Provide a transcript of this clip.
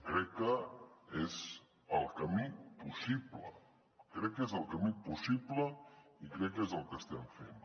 crec que és el camí possible crec que és el camí possible i crec que és el que estem fent